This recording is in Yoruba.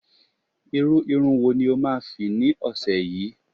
irú Irun wo ni o ma fi ni ọsẹ yìí